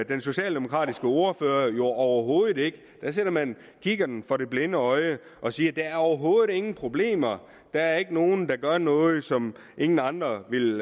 den socialdemokratiske ordfører jo overhovedet ikke der sætter man kikkerten for det blinde øje og siger der er overhovedet ingen problemer der er ikke nogen der gør noget som ingen andre ville